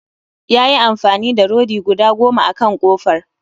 Ya yi amfani da rodi guda goma akan kofar